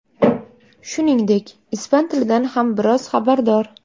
Shuningdek, ispan tilidan ham biroz xabardor.